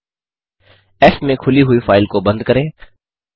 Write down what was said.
फ़ में खुली हुई फाइल को बंद करें